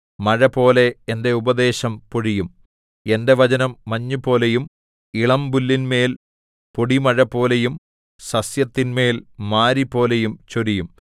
മഴപോലെ എന്റെ ഉപദേശം പൊഴിയും എന്റെ വചനം മഞ്ഞുപോലെയും ഇളമ്പുല്ലിന്മേൽ പൊടിമഴപോലെയും സസ്യത്തിന്മേൽ മാരിപോലെയും ചൊരിയും